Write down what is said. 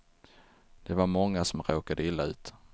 Det var många som råkade illa ut.